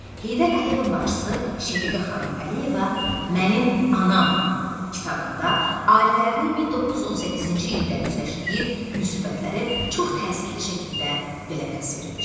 Heydər Əliyevin bacısı Şəfiqə xanım Əliyeva "Mənim anam" kitabında ailələrinin 1918-ci ildə üzləşdiyi müsibətləri çox təsirli şəkildə belə təsvir edir.